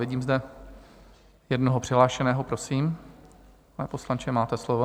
Vidím zde jednoho přihlášeného, prosím, pane poslanče, máte slovo.